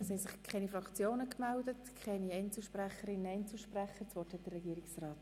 Es haben sich weder Fraktions- noch Einzelsprechende gemeldet.